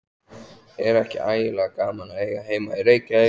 Er ekki ægilega gaman að eiga heima í Reykjavík?